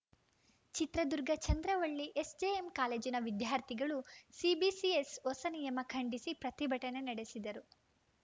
Chitradurga Chandravalli SJM ಕಾಲೇಜಿನ ವಿದ್ಯಾರ್ಥಿಗಳು CBCS ಹೊಸ ನಿಯಮ ಖಂಡಿಸಿ ಪ್ರತಿಭಟನೆ ನಡೆಸಿದರು